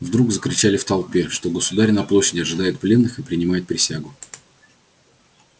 вдруг закричали в толпе что государь на площади ожидает пленных и принимает присягу